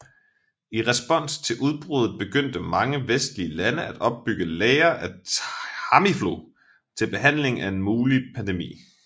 I respons til udbruddet begyndte mange vestlige lande at opbygge lagre af Tamiflu til behandling af en mulig pandemi